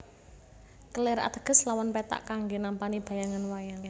Kelir ateges lawon pethak kanggé nampani bayangan wayang